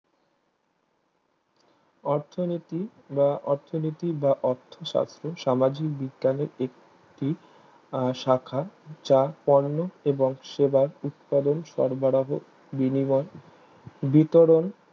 অর্থনীতি বা অর্থনীতি বা অর্থসাস্থ সামাজিক বিজ্ঞানের একটি আহ শাখা যা কর্ম এবং সেবার উৎপাদন সরবরাহ বিনিগন বিতরণ